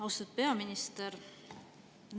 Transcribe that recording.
Austatud peaminister!